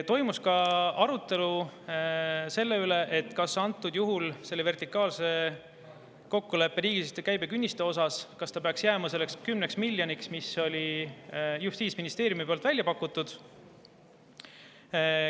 Toimus ka arutelu vertikaalsete kokkulepete riigisisese käibe künnise kohta, kas see peaks jääma 10 miljoniks, nagu Justiitsministeerium oli välja pakkunud.